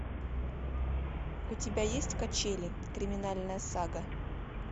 у тебя есть качели криминальная сага